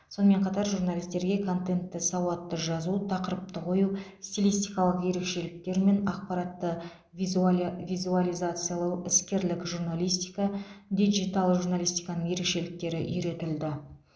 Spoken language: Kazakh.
сонымен қатар журналистерге контентті сауатты жазу тақырыпты қою стилистикалық ерекшеліктер мен ақпаратты взуалия визуализациялау іскерлік журналистика диджитал журналистиканың ерекшеліктері үйретілді